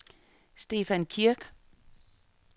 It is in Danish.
Stefan Kirk